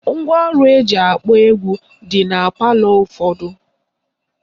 Ngwaọrụ eji akpọ egwu na-adị na palọ ụfọdụ